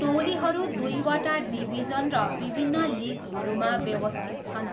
टोलीहरू दुईवटा डिभिजन र विभिन्न लिगहरूमा व्यवस्थित छन्।